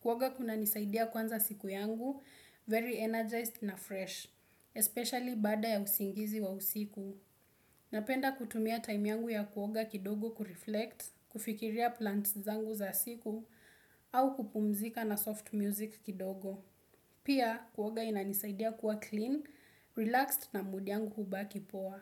Kuoga kunanisaidia kuanza siku yangu, very energized na fresh, especially baada ya usingizi wa usiku. Napenda kutumia time yangu ya kuoga kidogo kureflect, kufikiria plans zangu za siku, au kupumzika na soft music kidogo. Pia, kuoga inanisaidia kuwa clean, relaxed na mudi yangu hubaki poa.